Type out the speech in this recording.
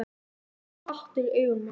Það var hatur í augunum á honum.